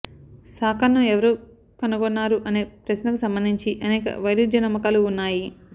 సాకర్ను ఎవరు కనుగొన్నారు అనే ప్రశ్నకు సంబంధించి అనేక వైరుధ్య నమ్మకాలు ఉన్నాయి